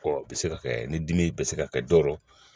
Ɔ o bɛ se ka kɛ ni dimi bɛ se ka kɛ dɔ